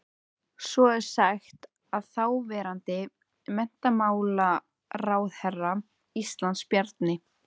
Svo er sagt að þáverandi menntamálaráðherra Íslands, Bjarni